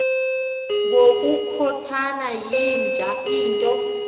ngokukhothana yinja into